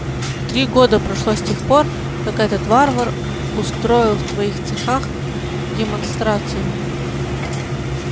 три года прошло с тех пор как этот варвар устроил в твоих цехах демонстрацию